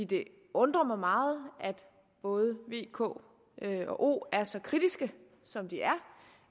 det undrer mig meget at både v k og o er så kritiske som de er